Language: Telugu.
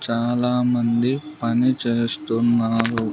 చాలామంది పని చేస్తున్నారు.